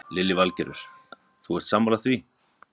Lillý Valgerður: Þú ert sammála því?